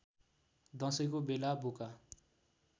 दशैँको बेला बोका